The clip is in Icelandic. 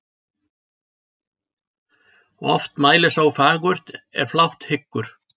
Oft mælir sá fagurt er flátt hyggur.